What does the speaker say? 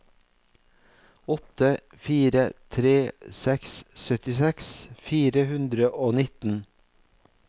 åtte fire tre seks syttiseks fire hundre og nitten